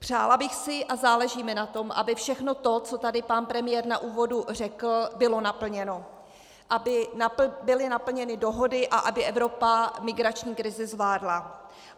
Přála bych si, a záleží mi na tom, aby všechno to, co tady pan premiér na úvodu řekl, bylo naplněno, aby byly naplněny dohody a aby Evropa migrační krizi zvládla.